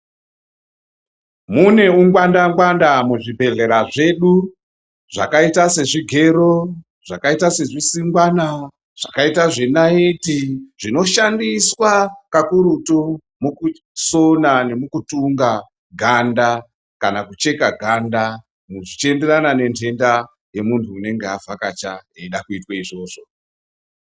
Mune ungwanda ngwanda muzvibhehlera zvedu, zvakaita sezvigero, zvakaita sezvisingwana, zvakaita zvenayiti, zvinoshandiswa kakurutu mukusona nemukutunga ganda kana kucheka ganda zvichienderana nentenda yemunhu unonga avhakacha eida kuitwe izvozvo.